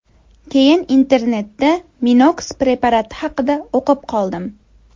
Keyin internetda MinoX preparati haqida o‘qib qoldim.